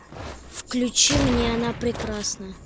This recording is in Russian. включи мне она прекрасна